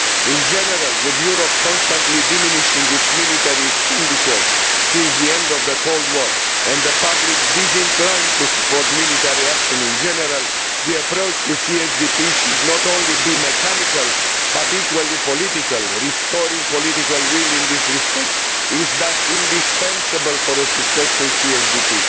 In general, with Europe constantly diminishing its military expenditure since the end of the Cold War and a public disinclined to support military action in general, the approach to CSDP should not only be mechanical but equally political. Restoring political will in this respect is thus indispensable for a successful CSDP.